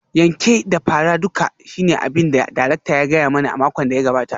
Yanke da fara duka shine abin da darakta ya gaya mani a makon da ya gabata